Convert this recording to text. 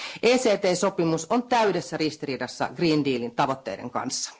ECT sopimus on täydessä ristiriidassa Green Dealin tavoitteiden kanssa.